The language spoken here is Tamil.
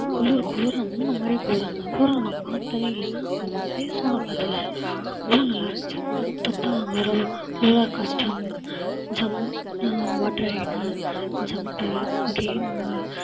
குளுர குளுர மாதிரி குளிர அந்த மாதிரி குளிர நான் பார்த்ததே இல்லை. அந்த மாதிரி place லாம் நான் பார்த்ததே இல்லை. அவ்ளோ நல்லா இருந்துச்சு. பார்த்தா அங்கெல்லாம் roller coaster ஜம்~ water ride உ jumper, game உ